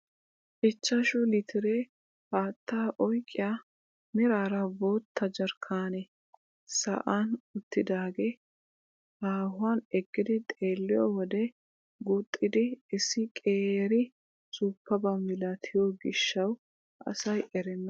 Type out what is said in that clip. Ichchashshu litire haattaa oyqqiyaa meraara bootta jarkkanee sa'an uttidagee haahuwaan eqqidi xeelliyoo wode guuxxidi issi qeeri suuppabaa milatiyoo giishshawu asay erenna!